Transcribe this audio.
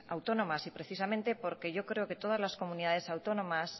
autónomas y precisamente porque yo creo que